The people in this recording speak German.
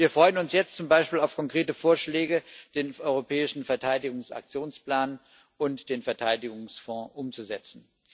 Wir freuen uns jetzt zum Beispiel auf konkrete Vorschläge, den europäischen Verteidigungs Aktionsplan und den Verteidigungsfonds umzusetzen.